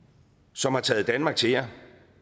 som har taget danmark til jer